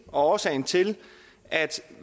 og årsagen til at